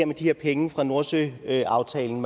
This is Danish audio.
med de her penge fra nordsøaftalen